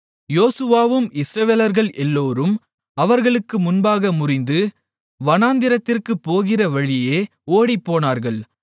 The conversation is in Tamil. யோசுவாவும் இஸ்ரவேலர்கள் எல்லோரும் அவர்களுக்கு முன்னாக முறிந்து வனாந்திரத்திற்குப் போகிற வழியே ஓடிப்போனார்கள்